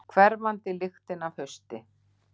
Hverfandi lyktin af hausti.